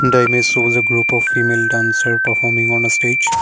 the image shows a group of female dancer performing on a stage.